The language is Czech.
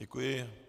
Děkuji.